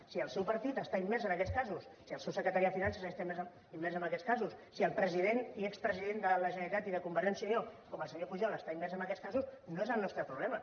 si el seu partit està immers en aquests casos si el seu secretari de finances està immers en aquests casos si el president i expresident de la generalitat i de convergència i unió com el senyor pujol està immers en aquests casos no és el nostre problema